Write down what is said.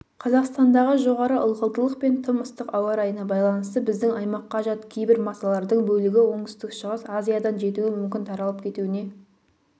қазақстандағы жоғары ылғалдылық пен тым ыстық ауа райына байланысты біздің аймаққа жат кейбір масалардың бөлігі оңтүстік-шығыс азиядан жетуі мүмкін таралып кетуіне